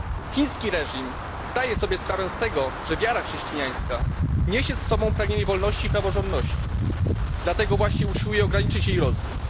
Chiński reżim zdaje sobie sprawę z tego, że wiara chrześcijańska niesie z sobą pragnienie wolności i praworządności, dlatego właśnie usiłuje ograniczyć jej rozwój.